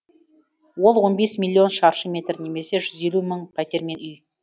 ол он бес миллион шаршы метр немесе жүз елу мың пәтер мен үй